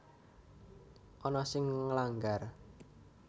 Ana sing nglanggar